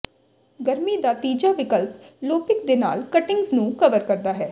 ਗਰਮੀ ਦਾ ਤੀਜਾ ਵਿਕਲਪ ਲੋਪਿਕ ਨਾਲ ਕਟਿੰਗਜ਼ ਨੂੰ ਕਵਰ ਕਰਨਾ ਹੈ